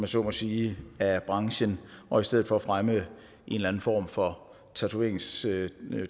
så må sige af branchen og i stedet for fremme en eller anden form for tatoveringsturisme